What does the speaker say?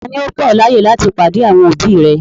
Tani ò gbà ọ̀ laaye láti padé àwọn òbí rẹ̀?